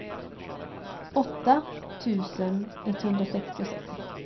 åtta tusen etthundrasextiosex